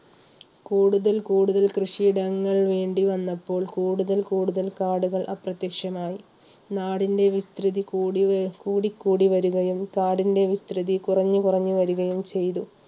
കൂടുതൽ കൂടുതൽ കൃഷിയിടങ്ങൾ വേണ്ടി വന്നപ്പോൾ കൂടുതൽ കൂടുതൽ കാടുകൾ അപ്രത്യക്ഷമായി നാടിൻറെ വിസ്തൃതി കൂടിക്കൂടി വരികയും കാടിൻറെ വിസ്തൃതി കുറഞ്ഞു കുറഞ്ഞു വരികയും ചെയ്തു.